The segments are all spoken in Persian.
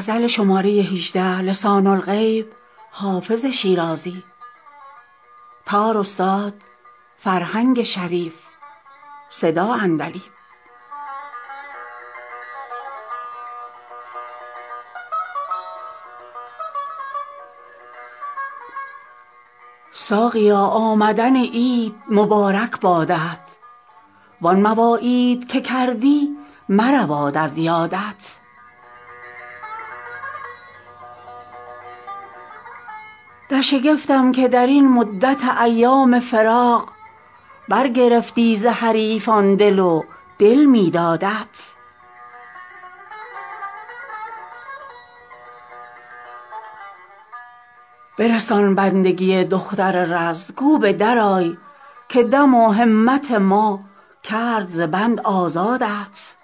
ساقیا آمدن عید مبارک بادت وان مواعید که کردی مرود از یادت در شگفتم که در این مدت ایام فراق برگرفتی ز حریفان دل و دل می دادت برسان بندگی دختر رز گو به درآی که دم و همت ما کرد ز بند آزادت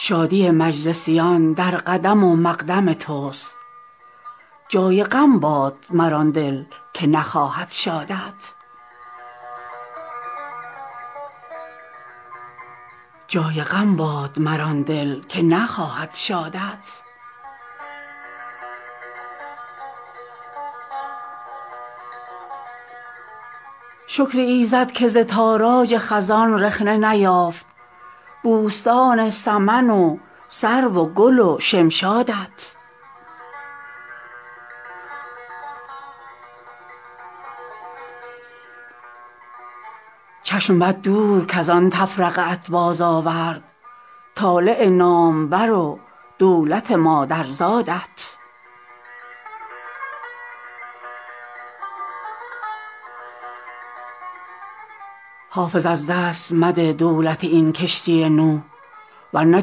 شادی مجلسیان در قدم و مقدم توست جای غم باد مر آن دل که نخواهد شادت شکر ایزد که ز تاراج خزان رخنه نیافت بوستان سمن و سرو و گل و شمشادت چشم بد دور کز آن تفرقه ات بازآورد طالع نامور و دولت مادرزادت حافظ از دست مده دولت این کشتی نوح ور نه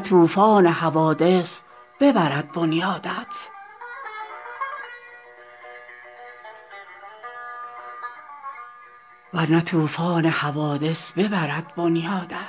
طوفان حوادث ببرد بنیادت